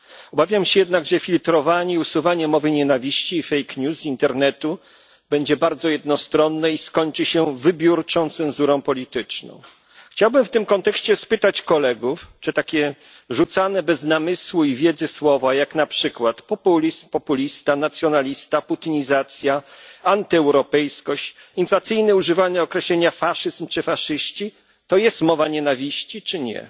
Obawiam się jednak, że filtrowanie i usuwanie mowy nienawiści i z internetu będzie bardzo jednostronne i skończy się wybiórczą cenzurą polityczną. Chciałbym w tym kontekście spytać kolegów, czy takie rzucane bez namysłu i wiedzy słowa, jak na przykład populizm, populista, nacjonalista, putinizacja, antyeuropejskość, inflacyjne używanie określenia faszyzm czy faszyści, to jest mowa nienawiści, czy nie?